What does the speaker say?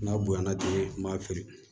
N'a bonyana ten m'a feere